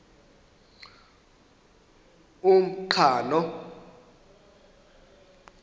umqhano